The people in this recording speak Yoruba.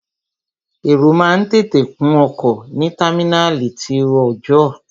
Èrò máa ń tètè kún ọkọ̀ ní támínàlí ti ọọ̀jọ́.